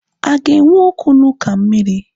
A ga-enwe okwu na uka mmiri?